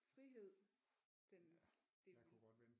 Frihed den det vil